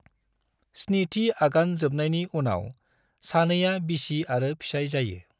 स्निथि आगान जोबनायनि उनाव सानैया बिसि आरो फिसाय जायो।